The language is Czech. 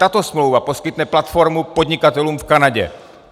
Tato smlouva poskytne platformu podnikatelům v Kanadě.